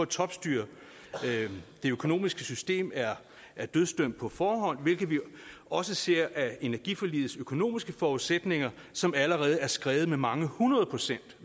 topstyre det økonomiske system er er dødsdømt på forhånd hvilket vi også ser af energiforligets økonomiske forudsætninger som allerede er skredet med mange hundrede procent